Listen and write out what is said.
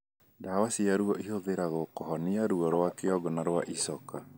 Ndawa cia ruo ĩhũthagĩrũo kũhũnia ruo rwa kĩongo na rwa icoka.